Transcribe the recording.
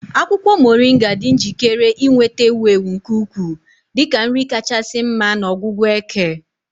Akwukwo Moringa dị njikere inweta ewu ewu nke ukwuu dị ka nri kachasị mma na ọgwụgwọ eke.